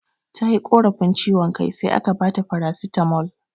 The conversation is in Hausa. Tayi korafi ciwan kai sai aka baka farasitamol